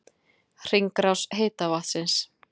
Hringrás heita vatnsins